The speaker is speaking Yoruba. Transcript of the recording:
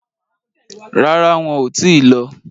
Rárá, wọn ò tíì lọ.